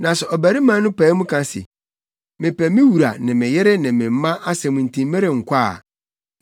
“Na sɛ ɔbarima no pae mu ka se, ‘Mepɛ me wura ne me yere ne me mma asɛm nti merenkɔ’ a,